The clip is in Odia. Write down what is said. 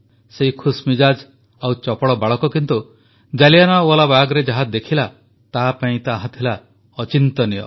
ସେହି ଖୁସମିଜାଜ୍ ଓ ଚପଳ ବାଳକ କିନ୍ତୁ ଜାଲିଆନାୱାଲାବାଗରେ ଯାହା ଦେଖିଲା ତାହା ତାପାଇଁ ଥିଲା ଅଚିନ୍ତନୀୟ